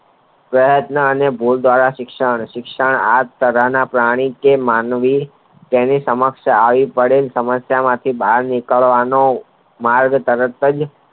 કહેવતના અને શિક્ષણ સરના પ્રાણી કે માનવી તેની સમક્ષ આવી પડે સમસ્યા માંથી બાર નીકરવાનો માર્ગ તરત જ